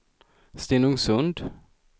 Stenungsund